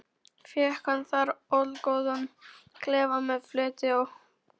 Fékk hann þar allgóðan klefa með fleti og ábreiðum.